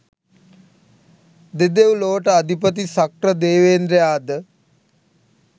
දෙදෙව් ලොවට අධිපති ශක්‍රදේවේන්ද්‍රයා ද